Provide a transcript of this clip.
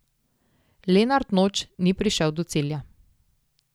Lenart Noč ni prišel do cilja.